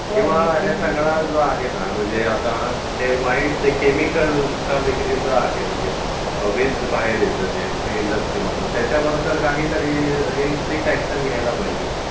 किंवा हे सगळं जे आहे न किंवा वाईट केमिकलचा विक्रय जे आहे जे वेस्ट बाहेर येते जे इंडस्ट्रीमधून त्याच्यावर काहीतरी स्ट्रीक्ट अॅक्शन घ्यायला पाहिजे.